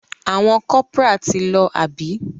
Àwọn corporal ti lọ àbí?